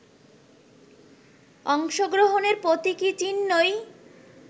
অংশগ্রহণের প্রতীকী চিহ্নই